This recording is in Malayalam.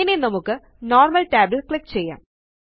ഇനി നമുക്ക് നോർമൽ tab ല് ക്ലിക്ക് ചെയ്യാം